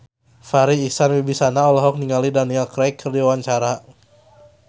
Farri Icksan Wibisana olohok ningali Daniel Craig keur diwawancara